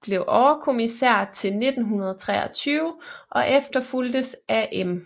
blev overkommissær til 1923 og efterfulgtes af M